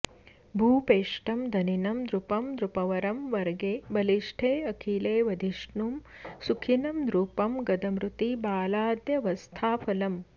भूपेष्टं धनिनं नृपं नृपवरं वर्गे बलिष्ठेऽखिले वधिष्णुं सुखिनं नृपं गदमृती बालाद्यवस्थाफलम्